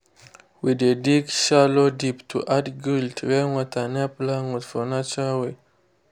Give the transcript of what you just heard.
we dey dig shallow deep to add guild rainwater near plant root for natural way.